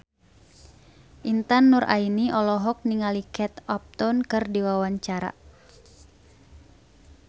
Intan Nuraini olohok ningali Kate Upton keur diwawancara